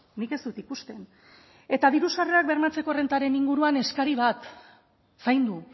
nik ez dut ikusten eta diru sarrerak bermatzeko errentaren inguruan eskari bat zaindu